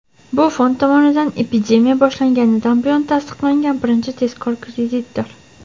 Bu fond tomonidan epidemiya boshlanganidan buyon tasdiqlangan birinchi tezkor kreditdir.